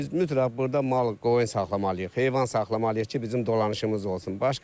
Biz mütləq burda mal-qoyun saxlamalıyıq, heyvan saxlamalıyıq ki, bizim dolanışımız olsun.